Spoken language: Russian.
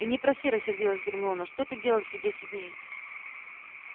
и не проси рассердилась гермиона что ты делал все десять дней